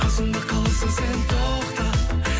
қасымда қаласың сен тоқта